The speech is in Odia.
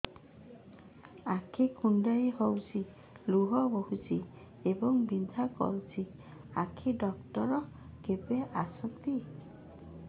ଆଖି କୁଣ୍ଡେଇ ହେଉଛି ଲୁହ ବହୁଛି ଏବଂ ବିନ୍ଧା କରୁଛି ଆଖି ଡକ୍ଟର କେବେ ଆସନ୍ତି